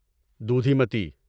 دودھیمتی